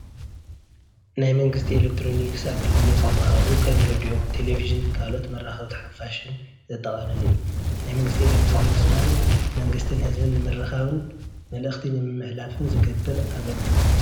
ኣብ ናይዕዳጋ ማእኸል ገዛኢት ኮይነ ይፈልጥእየ ዝገዛኽዎ ነገር ድማ ኮሚደረ ሽጕርቲ ቆስጣ ሥላጣ ንምግብነት ዝውዕሉ ብዙኃት ነገራት ካብ ገጠርካው ዝሞፁ ናትና ናይተፈጥሮ ዝኾኑ ገዚአ ተጠቒነ ይፈልጥየ